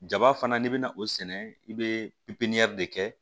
Jaba fana n'i bɛna o sɛnɛ i bɛ pipiniyɛri de kɛ